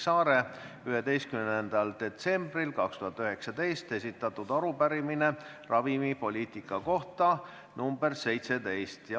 See on esitatud 10. detsembril 2019 ja see on esitatud rahandusministri nõuniku osalemise kohta tuuleparkide arendajate pressikonverentsil.